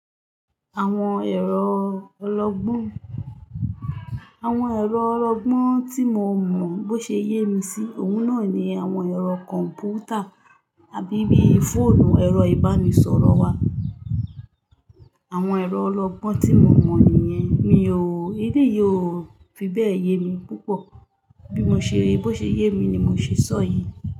Àwọn ẹ̀rọ ọlọgbọ́n, àwọn ẹ̀rọ ọlọgbọ́n tí mo mọ bó ṣe ye mi sí òun náà ni àwọn ẹ̀rọ kọ̀m̀pútà àbí bí fóònù, ẹ̀rọ ìbánisọ̀rọ̀ wá. Àwọn ẹ̀rọ ọlọgbọ́n tí mo mọ nìyẹn, mi ò, aleyi ò fi bẹ́ẹ̀ ye mi púpọ̀. Bí mo ṣe ríi, bó ṣe ye mi ni mo ṣe sọ̀ yí.